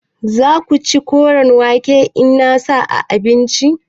Za ka ci koren wake in na sa a abinci?